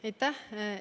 Aitäh!